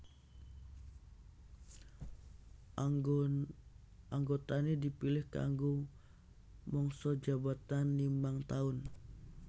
Anggotané dipilih kanggo mangsa jabatan limang taun